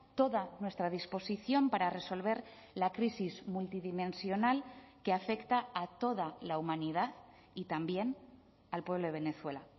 toda nuestra disposición para resolver la crisis multidimensional que afecta a toda la humanidad y también al pueblo venezuela